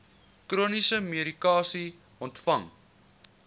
chroniese medikasie ontvang